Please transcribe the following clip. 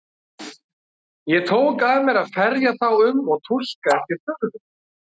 Ég tók að mér að ferja þá um og túlka eftir þörfum.